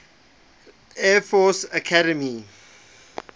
air force academy